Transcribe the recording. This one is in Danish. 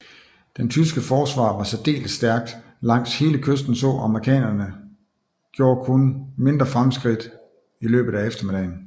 Det tyske forsvar var særdeles stærkt langs hele kysten så amerikanerne gjorde kun mindre fremskridt i løbet af eftermiddagen